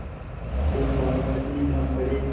एक बार वह भी गरम पड़े